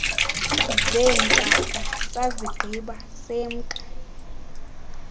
zeentaka sazigqiba semka